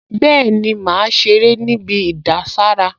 Bẹ́ẹ̀ni, màá ṣeré níbi ìdására